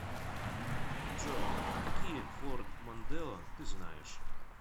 джой какие форд мондео ты знаешь